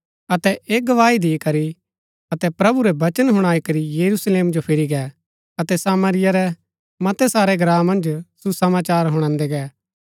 अतै ऐह गवाही दिकरी अतै प्रभु रै वचन हुणाई करी यरूशलेम जो फिरी गै अतै सामरिया रै मतै सारै ग्राँ मन्ज सुसमाचार हुणादै गै